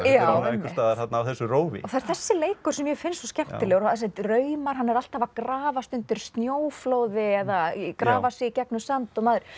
einhvers staðar á þessu rófi það er þessi leikur sem mér finnst svo skemmtilegur þessir draumar hann er alltaf að grafast undir snjóflóði eða grafa sig í gegnum sand